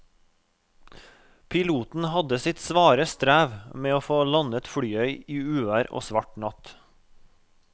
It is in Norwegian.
Piloten hadde sitt svare strev med å få landet flyet i uvær og svart natt.